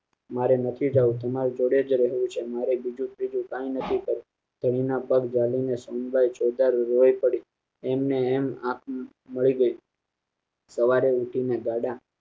મારે નથી જવું તમારી જોડે જ રહેવું છે મારે બીજું ત્રીજું કાઈ નથી જમીન ના પદ ડાલી ને સમજાય છે તારું એમ ને એમ આંખ ભરી ગઈ સવારે ઉઠીને જાડા